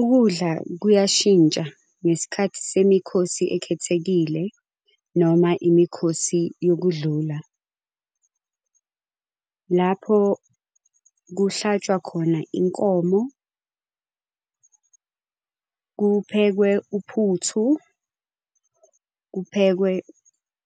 Ukudla kuyashintsha ngesikhathi semikhosi ekhethekile noma imikhosi yokudlula. Lapho kuhlatshwa khona inkomo, kuphekwe uphuthu, kuphekwe